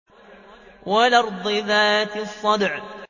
وَالْأَرْضِ ذَاتِ الصَّدْعِ